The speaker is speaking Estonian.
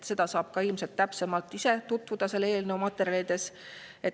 Sellega saab ilmselt ka ise täpsemalt tutvuda eelnõu materjalide abil.